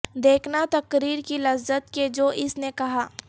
دیکھنا تقریر کی لذت کہ جو اس نے کہا